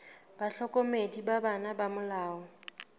bahlokomedi ba bona ba molao